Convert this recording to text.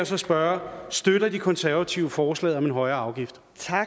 så spørge støtter de konservative forslaget om en højere afgift